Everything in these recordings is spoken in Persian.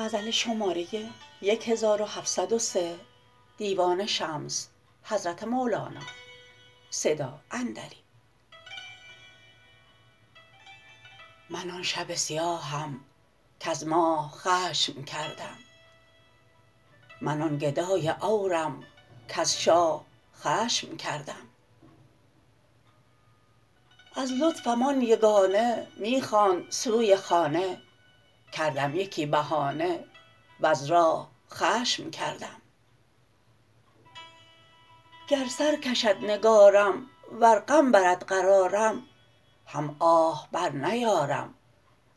من آن شب سیاهم کز ماه خشم کردم من آن گدای عورم کز شاه خشم کردم از لطفم آن یگانه می خواند سوی خانه کردم یکی بهانه وز راه خشم کردم گر سر کشد نگارم ور غم برد قرارم هم آه برنیارم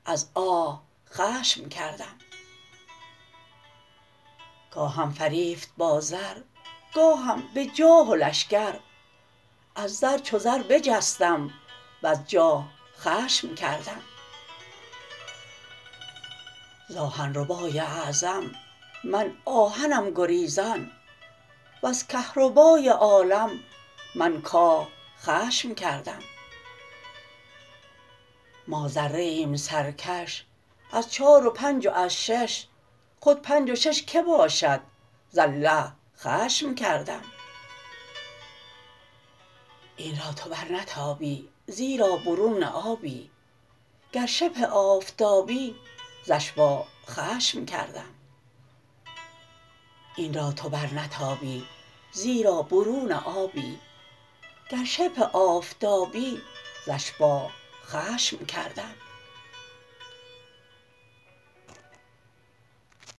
از آه خشم کردم گاهم فریفت با زر گاهم به جاه و لشکر از زر چو زر بجستم وز جاه خشم کردم ز آهن ربای اعظم من آهنم گریزان وز کهربای عالم من کاه خشم کردم ما ذره ایم سرکش از چار و پنج و از شش خود پنج و شش کی باشد ز الله خشم کردم این را تو برنتابی زیرا برون آبی گر شبه آفتابی ز اشباه خشم کردم